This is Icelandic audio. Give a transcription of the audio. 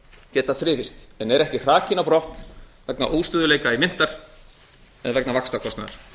geta þrifist en eru ekki hrakin á brott vegna óstöðugleika myntar eða vegna vaxtakostnaðar